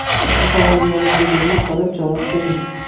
Ushbu savolga yolg‘iz o‘zingiz qolib javob bering.